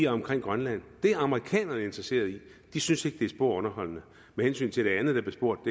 omkring grønland det er amerikanerne interesserede i de synes ikke det er spor underholdende med hensyn til det andet der blev spurgt